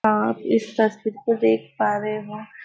आप इस तस्वीर को देख पा रहे हो।